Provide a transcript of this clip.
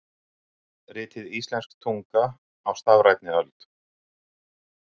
Ritið Íslensk tunga á stafrænni öld.